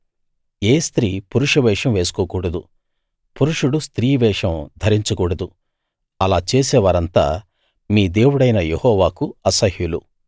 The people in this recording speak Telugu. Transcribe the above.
ఏ స్త్రీ పురుష వేషం వేసుకోకూడదు పురుషుడు స్త్రీ వేషం ధరించకూడదు అలా చేసేవారంతా మీ దేవుడైన యెహోవాకు అసహ్యులు